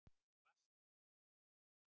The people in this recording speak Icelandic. Sebastían